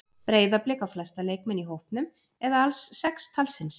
Breiðablik á flesta leikmenn í hópnum eða alls sex talsins.